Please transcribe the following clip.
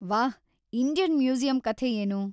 ವಾಹ್... Indian museum ಕಥೆ ಏನು?